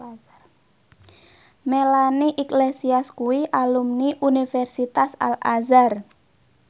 Melanie Iglesias kuwi alumni Universitas Al Azhar